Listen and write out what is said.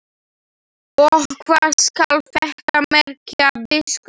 Og hvað skal þetta merkja, biskup Jón?